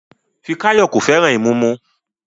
Fikayomi kò fẹ́ràn ìmumu